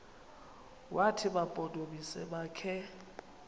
wathi mampondomise makhe